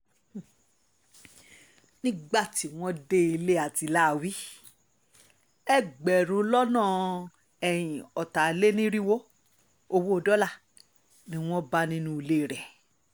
nígbà tí wọ́n dé ilé àtiláàwí ẹgbẹ̀rún lọ́nà ọ̀tàlénírínwó owó dọ́là ni wọ́n bá nínú ilé rẹ̀